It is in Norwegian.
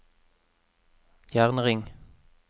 jernring